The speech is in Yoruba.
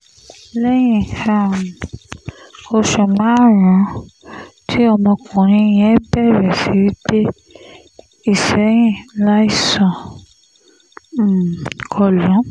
lẹ́yìn um oṣù márùn-ún tí ọmọkùnrin yẹn bẹ̀rẹ̀ sí í gbé ìsẹ̀yìn láìsàn um kọ lù ú